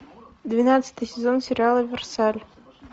двенадцатый сезон сериала версаль